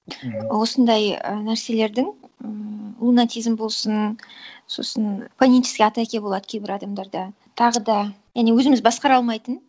осындай і нәрселердің ммм лунатизм болсын сосын панические атаки болады кейбір адамдарда тағы да және өзіміз басқара алмайтын